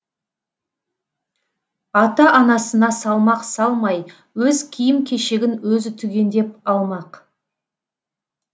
ата анасына салмақ салмай өз киім кешегін өзі түгендеп алмақ